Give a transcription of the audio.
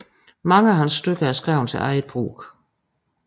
Mange af hans stykker er skrevet til eget brug